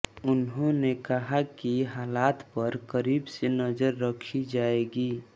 उन्होंने कहा कि हालात पर करीब से नजर रखी जाएगी